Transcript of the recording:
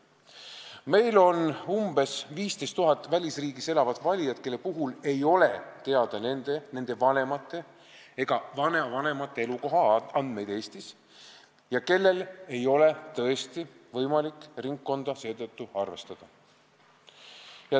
Meil on umbes 15 000 välisriigis elavat valijat, kelle puhul ei ole teada nende, nende vanemate ega vanavanemate elukohaandmeid Eestis ja kellele ei ole tõesti seetõttu võimalik ringkonda määrata.